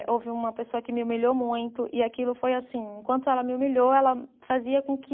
Houve uma pessoa que me humilhou muito e aquilo foi assim, enquanto ela me humilhou, ela fazia com que